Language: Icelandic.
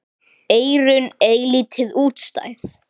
Eyrun eilítið útstæð.